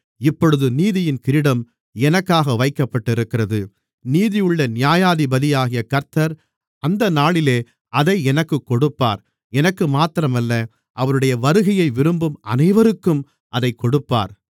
இப்பொழுது நீதியின் கிரீடம் எனக்காக வைக்கப்பட்டிருக்கிறது நீதியுள்ள நியாயாதிபதியாகிய கர்த்தர் அந்த நாளிலே அதை எனக்குக் கொடுப்பார் எனக்கு மாத்திரமல்ல அவருடைய வருகையை விரும்பும் அனைவருக்கும் அதைக் கொடுப்பார்